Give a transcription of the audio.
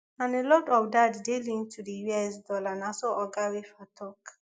and a lot of dat dey linked to di us dollar na so oga weafer tok